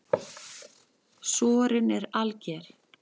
Sorinn er alger.